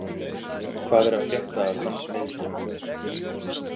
Hvað er að frétta af hans meiðslum?